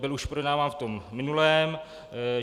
Byl už projednáván v tom minulém.